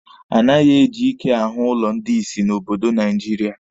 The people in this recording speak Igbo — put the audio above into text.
Anaghị eji ike ahụ ụlọ ndị ìsì n'obodo Naijiria.